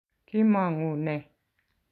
kimong'u nee?